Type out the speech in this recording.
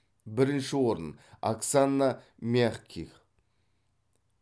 бірінші орын оксана мягких